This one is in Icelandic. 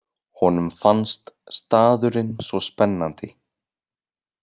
Honum fannst staðurinn svo spennandi.